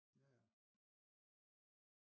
Ja ja